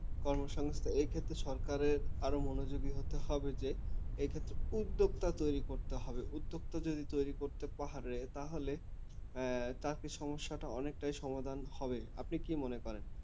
কর্মসংস্থান এক্ষেত্রে সরকারের আরও মনোযোগী হতে হবে যে এক্ষেত্রে উদ্যোক্তা তৈরী করতে হবে উদ্যোক্তা যদি তৈরী করতে পারে তাহলে আহ তাতে সমস্যাটা অনেকটাই সমাধান হবে আপনি কি মনে করেন